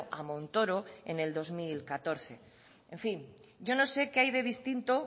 a montoro en el dos mil catorce en fin yo no sé qué hay de distinto